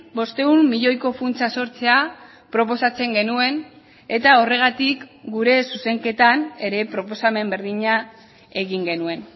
bostehun milioiko funtsa sortzea proposatzen genuen etahorregatik gure zuzenketan ere proposamen berdina egin genuen